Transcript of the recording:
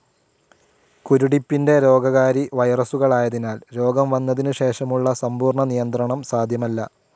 കുരുടിപ്പിൻ്റെ രോഗകാരി വൈറസുകളായതിനാൽ രോഗം വന്നതിനു ശേഷമുള്ള സമ്പൂർണ്ണ നിയന്ത്രണം സാധ്യമല്ല.